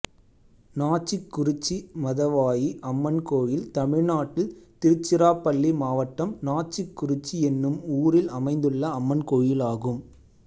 நாச்சிக்குறிச்சி மதவாயி அம்மன் கோயில் தமிழ்நாட்டில் திருச்சிராப்பள்ளி மாவட்டம் நாச்சிக்குறிச்சி என்னும் ஊரில் அமைந்துள்ள அம்மன் கோயிலாகும்